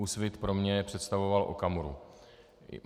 Úsvit pro mě představoval Okamuru.